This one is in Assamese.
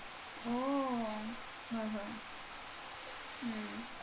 অ হয় হয় উম